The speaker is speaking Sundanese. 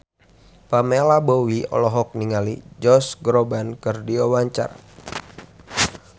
Pamela Bowie olohok ningali Josh Groban keur diwawancara